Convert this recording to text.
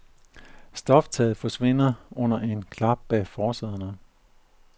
Stoftaget forsvinder under en lille klap bag forsæderne.